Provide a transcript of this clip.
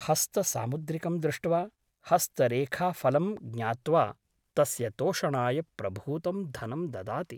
हस्तसामुद्रिकं दृष्ट्वा हस्तरेखाफलं ज्ञात्वा तस्य तोषणाय प्रभूतं धनं ददाति ।